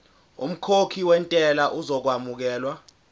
umkhokhi wentela uzokwamukelwa